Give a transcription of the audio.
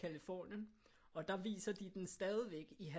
Californien og der viser de den stadigvæk i